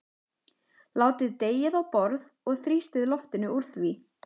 Látið deigið á borð og þrýstið loftinu úr því.